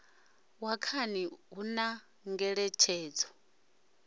wa khani hu na ngeletshedzo